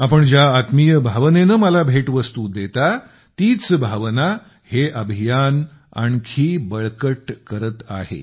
आपण ज्या आत्मीय भावनेने मला भेटवस्तू देता तीच भावना हे अभियान आणखी बळकट करते आहे